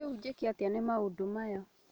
Rĩu njĩke atĩa nĩ maũndũmaya?